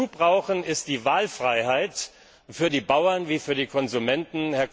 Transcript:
Was wir zudem brauchen, ist die Wahlfreiheit für die Bauern wie für die Konsumenten.